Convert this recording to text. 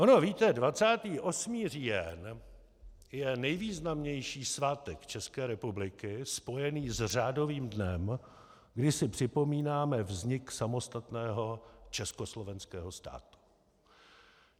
Ono, víte, 28. říjen je nejvýznamnější svátek České republiky spojený s řádovým dnem, kdy si připomínáme vznik samostatného československého státu.